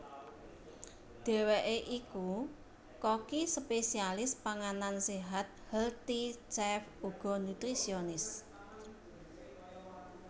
Dheweke iku koki spesialis panganan séhat healthy chef uga nutrisionis